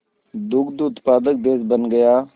दुग्ध उत्पादक देश बन गया